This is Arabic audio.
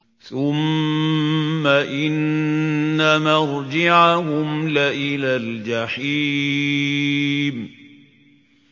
ثُمَّ إِنَّ مَرْجِعَهُمْ لَإِلَى الْجَحِيمِ